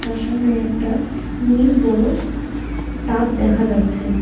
আর সামনে একটা নীল বড়ো টাব দেখা যাচ্ছে।